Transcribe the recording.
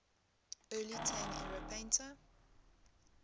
early tang era painter